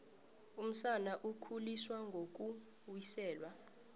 umsana ukhuliswa ngokuwiselwa